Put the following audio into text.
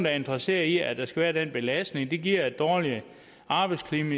er interesseret i at der skal være den belastning det giver dårligere arbejdsklima